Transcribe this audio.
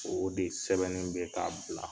O de sɛbɛnnen bɛkɛ a ko la.